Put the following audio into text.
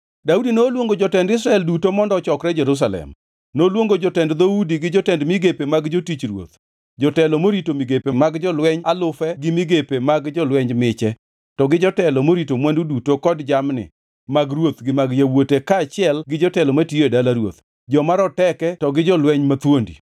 Daudi noluongo jotend Israel duto mondo ochokre Jerusalem. Noluongo jotend dhoudi gi jotend migepe mag jotich ruoth, jotelo morito migepe mag jolweny alufe gi migepe mag jolweny miche, to gi jotelo morito mwandu duto kod jamni mag ruoth gi mag yawuote kaachiel gi jotelo matiyo e dala ruoth, joma roteke to gi jolweny mathuondi.